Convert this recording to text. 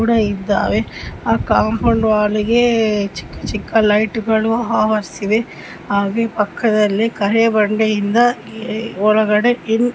ಕೂಡ ಇದ್ದಾವೆ. ಆ ಕಾಪೌಂಡ್ ಒಳಗೆ ಚಿಕ್ಕ್ಕ ಚಿಕ್ಕ ಲೈಟ್ ಗಳು ಆವರಿಸಿವೆ ಹಾಗೆ ಪಕ್ಕದಲ್ಲಿ ಕರಿ ಬಂಡೆ ಇಂದ ಒಳಗಡೆ --